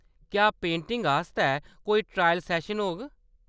क्या पेंटिंग आस्तै कोई ट्रायल सैशन होग ?